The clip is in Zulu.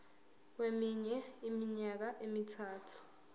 kweminye iminyaka emithathu